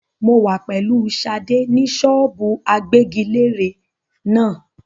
Mo wà pẹ̀lú Sadé ni ṣọ́ọ́bù agbẹ́giléèrè náà.